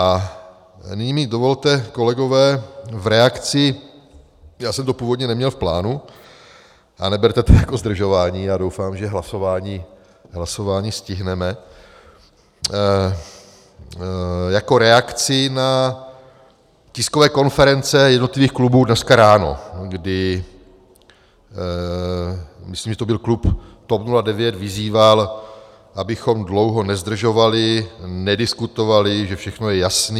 A nyní mi dovolte, kolegové, v reakci - já jsem to původně neměl v plánu a neberte to jako zdržování, já doufám, že hlasování stihneme - jako reakci na tiskové konference jednotlivých klubů dneska ráno, kdy myslím, že to byl klub TOP 09, vyzýval, abychom dlouho nezdržovali, nediskutovali, že všechno je jasné.